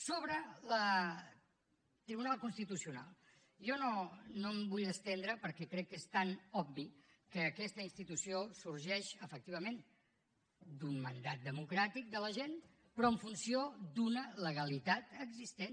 sobre el tribunal constitucional jo no m’hi vull estendre perquè crec que és tan obvi que aquesta institució sorgeix efectivament d’un mandat democràtic de la gent però en funció d’una legalitat existent